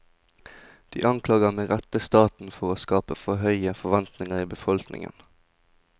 De anklager med rette staten for å skape for høye forventninger i befolkningen.